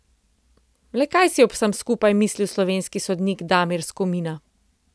Le kaj si je ob vsem skupaj mislil slovenski sodnik Damir Skomina?